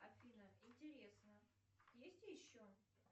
афина интересно есть еще